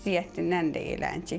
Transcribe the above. Ziyəddindən də eləcək.